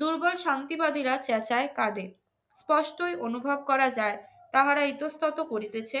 দুর্গার শান্তিবাদীরা চেঁচায় কাঁদে কষ্টই অনুভব করা যায় তাহারা ইতস্তত করিতেছে